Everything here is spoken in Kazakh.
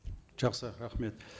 жақсы рахмет